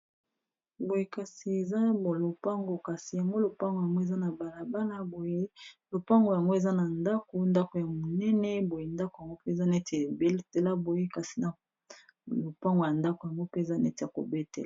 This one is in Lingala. eza lopango ,kasi lopango yango eza na balabala ndako ya monene lokola bazo teka Yango.